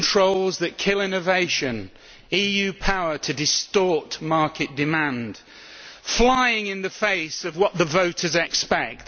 EU controls that kill innovation and EU power to distort market demand, flying in the face of what the voters expect.